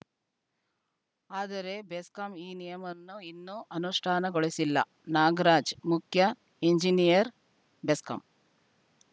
ಆದರೆ ಬೆಸ್ಕಾಂ ಈ ನಿಯಮವನ್ನು ಇನ್ನೂ ಅನುಷ್ಠಾನಗೊಳಿಸಿಲ್ಲ ನಾಗರಾಜ್‌ ಮುಖ್ಯ ಎಂಜಿನಿಯರ್‌ ಬೆಸ್ಕಾಂ